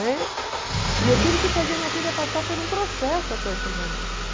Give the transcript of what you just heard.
Né? E eu tive que fazer a minha filha passar por um processo até chegar nisso.